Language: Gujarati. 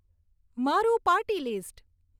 મારું પાર્ટી લીસ્ટ